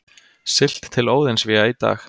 Siglt til Óðinsvéa í dag